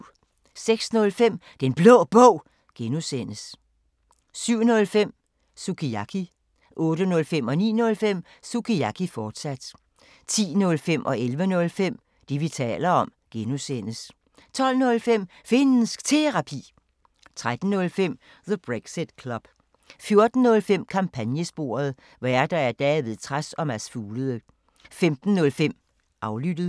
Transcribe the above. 06:05: Den Blå Bog (G) 07:05: Sukiyaki 08:05: Sukiyaki, fortsat 09:05: Sukiyaki, fortsat 10:05: Det, vi taler om (G) 11:05: Det, vi taler om (G) 12:05: Finnsk Terapi 13:05: The Brexit Club 14:05: Kampagnesporet: Værter: David Trads og Mads Fuglede 15:05: Aflyttet